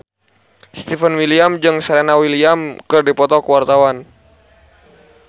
Stefan William jeung Serena Williams keur dipoto ku wartawan